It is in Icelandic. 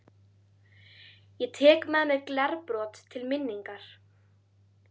Ég tek með mér glerbrot til minningar.